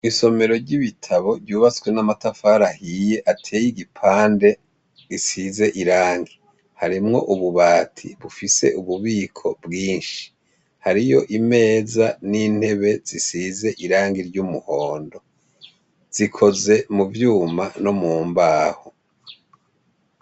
Isomero ry'ibitabo ryubaswe n'amatafara ahiye ateye igipande risize irangi harimwo ububati bufise ububiko bwinshi hariyo imeza n'intebe zisize irangi ry'umuhondo zikoze mu vyuma no mu mbaho.